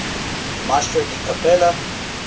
maestro di cappella